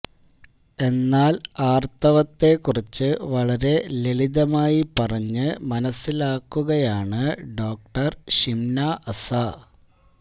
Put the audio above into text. എ്ന്നാൽ ആർത്തവത്തെ കുറിച്ച് വളരെ ലളിതമായി പറഞ്ഞ് മനസ്സിലാക്കുകയാണ് ഡോക്ടർ ഷിംനാ അസ